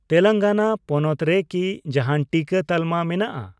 ᱛᱮᱞᱮᱝᱜᱟᱱᱟ ᱯᱚᱱᱚᱛ ᱨᱮ ᱠᱤ ᱡᱟᱦᱟᱱ ᱴᱤᱠᱟᱹ ᱛᱟᱞᱢᱟ ᱢᱮᱱᱟᱜᱼᱟ ?